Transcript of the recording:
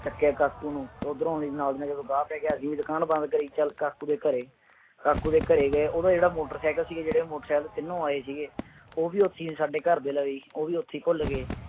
ਚੁੱਕਿਆ ਕਾਕੂ ਨੂੰ, ਉੱਧਰੋਂ ਵੀ ਨਾਲ ਦੀ ਨਾਲ ਜਦੋਂ ਗਾਹ ਪੈ ਗਿਆ, ਅਸੀਂ ਵੀ ਦੁਕਾਨ ਬੰਦ ਕਰੀ ਚੱਲ ਕਾਕੂ ਦੇ ਘਰੇ, ਕਾਕੂ ਦੇ ਘਰੇ ਗਏ ਉਹਦਾ ਜਿਹੜਾ ਮੋਟਰਸਾਈਕਲ ਸੀ, ਜਿਹੜੇ ਉਹ ਮੋਟਰਸਾਈਕਲ ਤੇ ਤਿੰਨੋ ਆਏ ਸੀਗੇ, ਉਹ ਵੀ ਉੱਥੇ ਹੀ ਸਾਡੇ ਘਰ ਦੇ ਲਵੇ ਹੀ, ਉਹ ਵੀ ਉੱਥੇ ਭੁੱਲ ਗਏ।